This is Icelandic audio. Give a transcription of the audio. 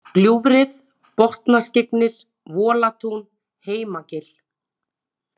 Gljúfrið, Botnaskyggnir, Volatún, Heimagil